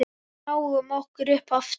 Við náum okkur upp aftur.